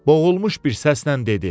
Boğulmuş bir səslə dedi.